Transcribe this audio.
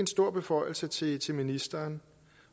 stor beføjelse til til ministeren